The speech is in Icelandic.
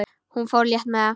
Hún fór létt með það.